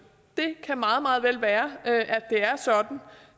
det kan meget meget vel være at det